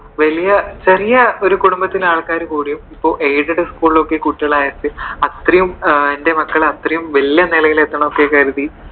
വലിയ ചെറിയ ഒരു കുടുംബത്തിലെ ആള്‍ക്കാര്‍ കൂടിയും ഇപ്പോ aided school കളിൽ കുട്ടികളെ അയച്ചു, അത്രെയും എന്റെ മക്കൾ അത്രെയും വലിയ നിലയിൽ എത്തണം എന്നൊക്കെ കരുതി